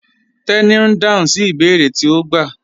Teni n dáhùn sí ibèèrè tí o gbà